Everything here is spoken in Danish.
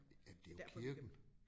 Jamen det jo kirken